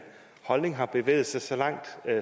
holdning har bevæget sig så langt